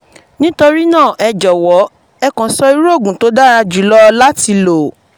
nítorí náà ẹ jọ̀wọ́ ẹ kàn sọ sọ irú oògùn tó dára jùlọ láti lò